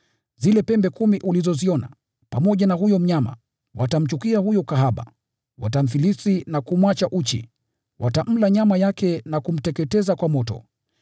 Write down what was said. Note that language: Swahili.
Zile pembe kumi ulizoziona, pamoja na huyo mnyama, watamchukia huyo kahaba, watamfilisi na kumwacha uchi, watamla nyama yake na kumteketeza kwa moto.